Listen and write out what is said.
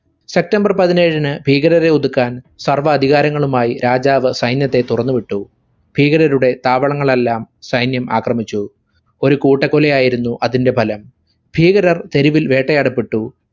september പതിനേഴിന് ഭീകരരെ ഒതുക്കാൻ സർവ്വ അധികാരങ്ങളുമായി രാജാവ് സൈന്യത്തെ തുറന്നുവിട്ടു. ഭീകരരുടെ താവളങ്ങളെല്ലാം സൈന്യം ആക്രമിച്ചു. ഒരു കൂട്ടക്കൊലയായിരുന്നു അതിന്റെ ഫലം. ഭീകരർ തെരുവിൽ വേട്ടയാടപ്പെട്ടു.